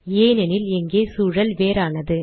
ஏனெனில் இங்கே சூழல் வேறானது